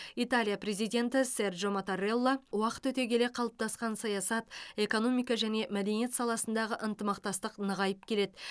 италия президенті серджо маттарелла уақыт өте келе қалыптасқан саясат экономика және мәдениет саласындағы ынтымақтастық нығайып келеді